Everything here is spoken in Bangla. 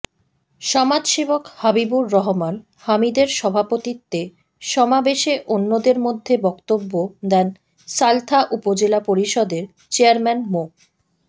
সমাজসেবক হাবিবুর রহমান হামিদের সভাপতিত্বে সমাবেশে অন্যদের মধ্যে বক্তব্য দেন সালথা উপজেলা পরিষদের চেয়ারম্যান মো